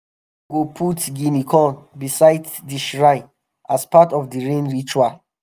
go put guinea corn beside the shrine as part of the rain ritual.